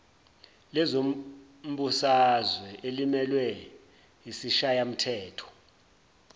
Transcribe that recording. lezombusazwe elimelwe yisishayamthetho